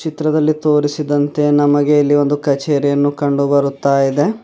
ಚಿತ್ರದಲ್ಲಿ ತೋರಿಸಿದಂತೆ ನಮಗೆ ಇಲ್ಲಿ ಒಂದು ಕಚೇರಿ ಅನ್ನು ಕಂಡು ಬರುತ್ತಾ ಇದೆ.